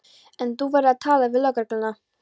En þú verður að tala við lögregluna.